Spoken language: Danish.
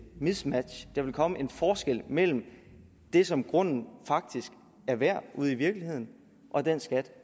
mismatch at der vil komme en forskel mellem det som grunden faktisk er værd ude i virkeligheden og den skat